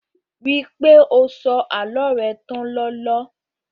Ríi pé o sọ àlọ́ rẹ tán lọla